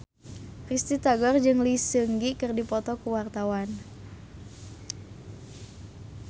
Risty Tagor jeung Lee Seung Gi keur dipoto ku wartawan